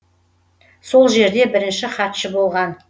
сол жерде бірінші хатшы болған